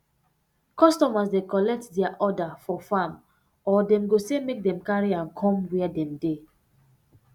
customers dey collect dia um order for farm or dem go say make dem carry am come wia dem dey